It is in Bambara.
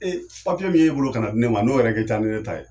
Ee papiye min y'e bolo ka na di ne ma n'o yɛrɛ kɛ ca ni ne ta ye